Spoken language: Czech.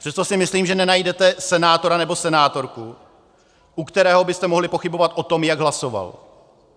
Přesto si myslím, že nenajdete senátora nebo senátorku, u kterého byste mohli pochybovat o tom, jak hlasoval.